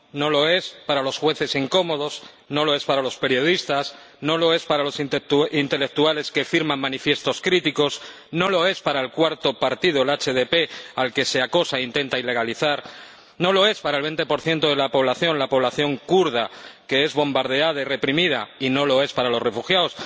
No lo es para los jueces incómodos, no lo es para los periodistas, no lo es para los intelectuales que firman manifiestos críticos, no lo es para el cuarto partido, el HDP, al que se acosa y se intenta ilegalizar, no lo es para el 20 de la población, la población kurda, que es bombardeada y reprimida, y no lo es para los refugiados.